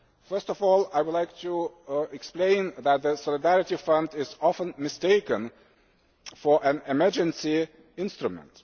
First of all, I would like to explain that the Solidarity Fund is often mistaken for an emergency instrument.